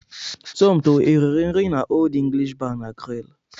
Somto e riri nri n'Old English Bar na Grill?